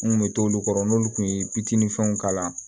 N kun bɛ t'olu kɔrɔ n'olu kun ye bitinin fɛnw kalan